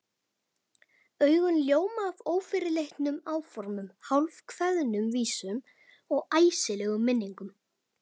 Augun ljóma af ófyrirleitnum áformum, hálfkveðnum vísum og æsilegum minningum.